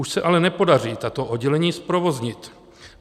Už se ale nepodaří tato oddělení zprovoznit.